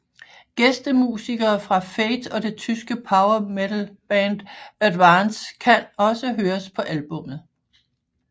Gæstemusikere fra Fate og det tyske power metal band At Vance kan også høres på albummet